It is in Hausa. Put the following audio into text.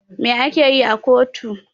Me a keyi a kotu?